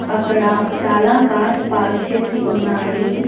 అక్కడ చాలా cars park చేసి ఉన్నాయి.